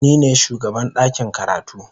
Ni ne shugaban ɗakin karatu.